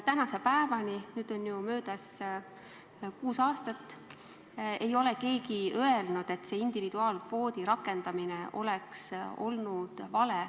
Tänase päevani ei ole keegi öelnud, et individuaalkvoodi rakendamine oleks olnud vale.